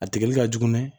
A tigɛli ka jugu mɛ